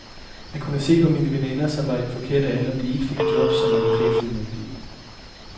Jeg kunne se på mine veninder, som var i den forkerte alder, at de ikke fik jobs som advokatfuldmægtige.